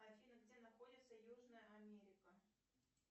афина где находится южная америка